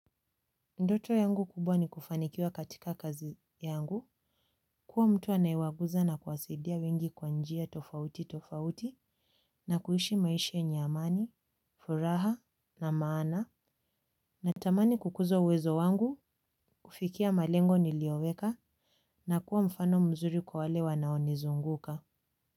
Ndoto yangu kubwa ni kufanikiwa katika kazi yangu kuwa mtu anayewaguza na kuwasaidia wengi kwa njia tofauti tofauti na kuishi maisha yenye amani furaha na maana natamani kukuza uwezo wangu kufikia malengo nilioweka na kuwa mfano mzuri kwa wale wanaonizunguka.